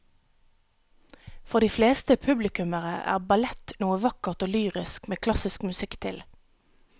For de fleste publikummere er ballett noe vakkert og lyrisk med klassisk musikk til.